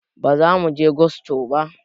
Bazamuje gusto ba